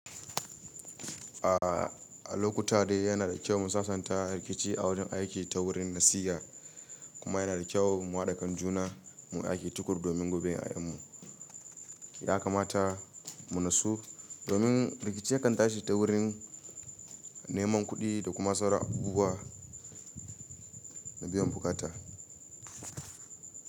A lokuta dai yana da kyau mu sasanta rikici a wurin aiki ta wurin nasiha kuma yana da kyau mu haɗa kan juna muyi aiki tukuru domin goben 'ya'yanmu. Ya kamata mu nasu domin rikici ya kan tashi ta wurin neman kuɗi da kuma sauran abubuwa na biyan buƙata.